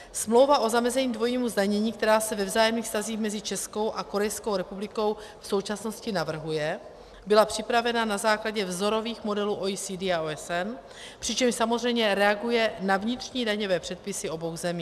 Smlouva o zamezení dvojímu zdanění, která se ve vzájemných vztazích mezi Českou a Korejskou republikou v současnosti navrhuje, byla připravena na základě vzorových modelů OECD a OSN, přičemž samozřejmě reaguje na vnitřní daňové předpisy obou zemí.